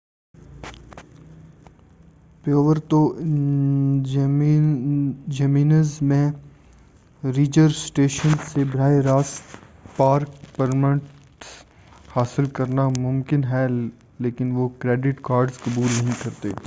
Puerto Jimenez میں ranger station سے براہِ راست پارک پرمٹس حاصل کرنا مُمکن ہے مگر وہ کریڈٹ کارڈز قبول نہیں کرتے